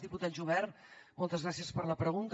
diputat jubert moltes gràcies per la pregunta